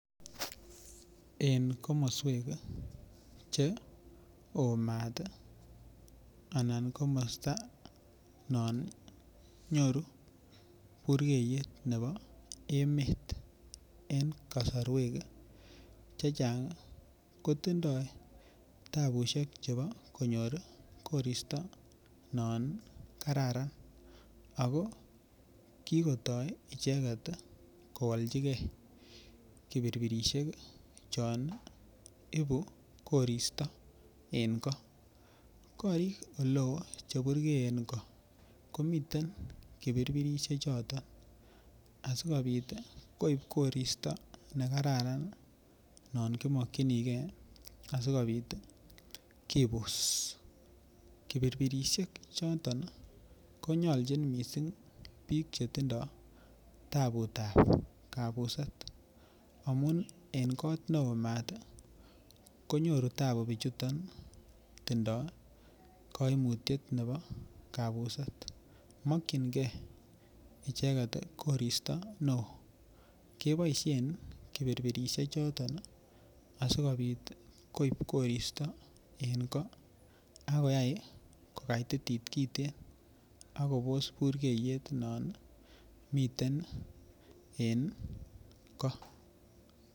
En komoswek Che oo maat anan komasta non nyoru burgeyet nebo emet en kasarwek Che Chang kotindoi tabusiek Che bo konyor koristo non kararan ago ki kotoi icheget koalchigei kipirpirsiek chon ibu koristo en goo korik oleo Che burgeeen go komiten kipirpirsiek choton asikobit koib koristo nekaran non ki mokyinigei asikobit kibus kipirpirsiek choton konyolchin mising bik Che tindoi taputab kabuset amun en kot neo maat konyoru tabu bichuton tindoi kaimutiet nebo kabuset mokyingei icheget koristo neo keboisien kipi asikobit koib koristo en goo ak koyai kogaitit kiten ak kobos burgeiyet non miten en goo